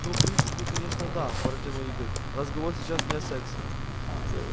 ну в принципе конечно да протянул игорь разговор сейчас не о сексе